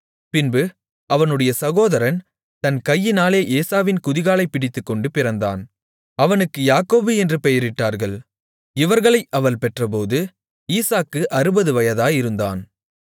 பின்பு அவனுடைய சகோதரன் தன் கையினாலே ஏசாவின் குதிகாலைப் பிடித்துக்கொண்டு பிறந்தான் அவனுக்கு யாக்கோபு என்று பெயரிட்டார்கள் இவர்களை அவள் பெற்றபோது ஈசாக்கு 60 வயதாயிருந்தான்